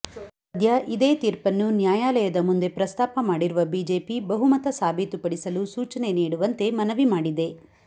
ಸದ್ಯ ಇದೇ ತೀರ್ಪನ್ನು ನಾಯ್ಯಾಲಯದ ಮುಂದೇ ಪ್ರಸ್ತಾಪ ಮಾಡಿರುವ ಬಿಜೆಪಿ ಬಹುಮತ ಸಾಬೀತು ಪಡಿಸಲು ಸೂಚನೆ ನೀಡುವಂತೆ ಮನವಿ ಮಾಡಿದೆ